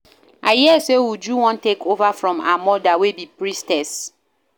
I hear say Uju wan take over from her mother wey be Priestess